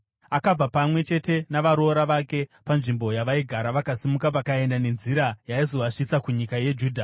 Akabva pamwe chete navaroora vake panzvimbo yavaigara vakasimuka vakaenda nenzira yaizovasvitsa kunyika yeJudha.